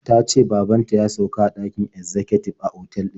Ta ce baban ta ya sauka a ɗakin ezzakatib a otal din.